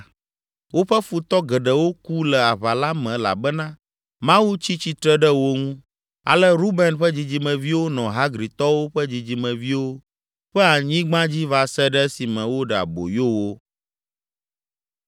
Woƒe futɔ geɖewo ku le aʋa la me elabena Mawu tsi tsitre ɖe wo ŋu. Ale Ruben ƒe dzidzimeviwo nɔ Hagritɔwo ƒe dzidzimeviwo ƒe anyigba dzi va se ɖe esime woɖe aboyo wo.